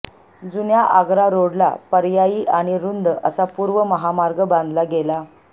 जुन्या आगरा रोडला पर्यायी आणि रुंद असा पूर्व महामार्ग बांधला गेला